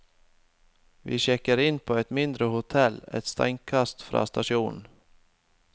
Vi sjekker inn på et mindre hotell et steinkast fra stasjonen.